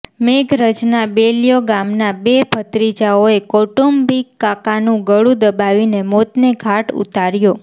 મેઘરજના બેલ્યો ગામના બે ભત્રીજાઓએ કૌટુંબિક કાકાનું ગળું દબાવીને મોતને ઘાટ ઉતાર્યો